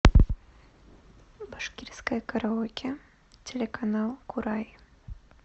башкирское караоке телеканал курай